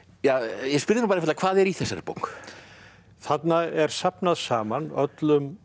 ég spyr þig nú bara einfaldlega hvað er í þessari bók þarna er safnað saman öllum